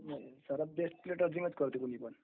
त्याला प्लेट अर्थिंगच करावे लागते..